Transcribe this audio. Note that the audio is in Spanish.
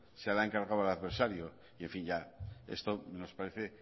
se lo ha encargado al adversario en fin ya esto nos parece